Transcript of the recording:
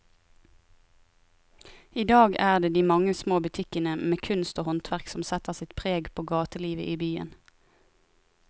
I dag er det de mange små butikkene med kunst og håndverk som setter sitt preg på gatelivet i byen.